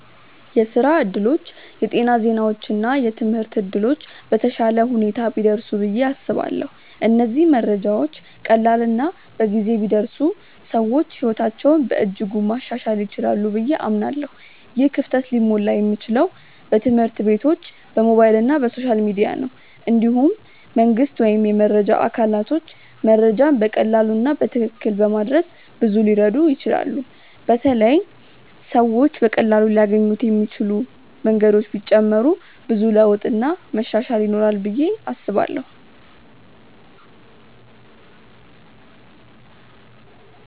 የስራ እድሎች፣ የጤና ዜናዎች እና የትምህርት እድሎች በተሻለ ሁኔታ ቢደርሱ ብዬ አስባለሁ። እነዚህ መረጃዎች ቀላል እና በጊዜ ቢደርሱ ሰዎች ሕይወታቸውን በእጅጉ ማሻሻል ይችላሉ ብዬ አምናለሁ። ይህ ክፍተት ሊሞላ የሚችለው በትምህርት ቤቶች፣ በሞባይል እና በሶሻል ሚዲያ ነው። እንዲሁም መንግስት ወይም የመረጃ አካላቶች መረጃን በቀላሉ እና በትክክል በማድረስ ብዙ ሊረዱ ይችላሉ በተለይ ሰዎች በቀላሉ ሊያገኙት የሚችሉ መንገዶች ቢጨመሩ ብዙ ለውጥ እና መሻሻል ይኖራል ብዬ አስባለው።